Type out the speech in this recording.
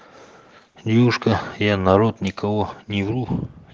девушка я народ никого не вру